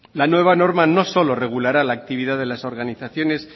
la nueva norma no solo regulará la actividad de las organizaciones